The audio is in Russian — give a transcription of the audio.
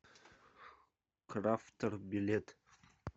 крафтер билет